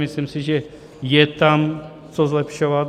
Myslím si, že je tam co zlepšovat.